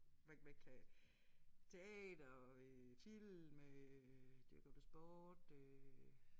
Hvad hvad kan teater øh film øh dyrker du sport øh